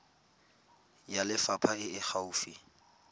ya lefapha e e gaufi